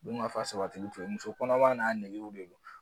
Dun ka fa sabati u fe yen muso kɔnɔma n'a nɛgɛw de don